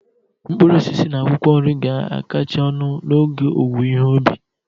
Mkpụrụ osisi na akwụkwọ nri ga-akacha ọnụ n'oge owuwe ihe ubi ha